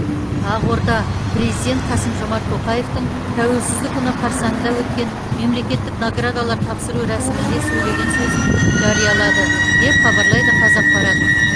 ақорда президент қасым жомарт тоқаевтың тәуелсіздік күні қарсаңында өткен мемлекеттік наградалар тапсыру рәсімінде сөйлеген сөзін жариялады деп хабарлайды қазақпарат